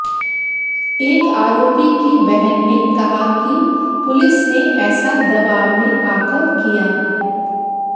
एक आरोपी की बहन ने कहा कि पुलिस ने ऐसा दबाव में आकर किया